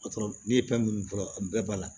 Ne ye fɛn minnu fɔ a bɛɛ b'a la